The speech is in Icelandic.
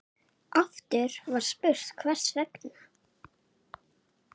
Aftur var spurt: Hvers vegna?